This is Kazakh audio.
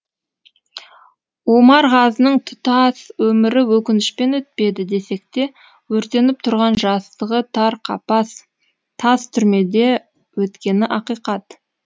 омарғазының тұтас өмірі өкінішпен өтпеді десекте өртеніп тұрған жастығы тар қапас тас тұрмеде өткені ақиқат